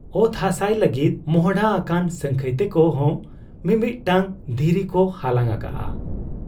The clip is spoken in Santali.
ᱚᱛ ᱦᱟᱥᱟᱭ ᱞᱟᱹᱜᱤᱫ ᱢᱚᱸᱦᱰᱟ ᱟᱠᱟᱱ ᱥᱟᱹᱝᱠᱷᱟᱹᱭ ᱛᱮᱠᱚ ᱦᱚᱸ ᱢᱤᱢᱤᱫᱴᱟᱹᱝ ᱫᱷᱤᱨᱤᱠᱚ ᱦᱟᱞᱟᱝ ᱟᱠᱟᱜ ᱟ ᱾